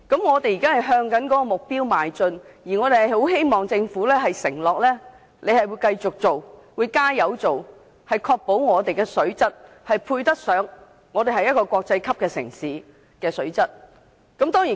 我們現時正朝這個目標邁進，希望政府承諾會繼續和致力落實相關工作，確保香港的水質達致國際級城市應有的水平。